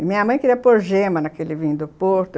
E minha mãe queria pôr gema naquele vinho do Porto.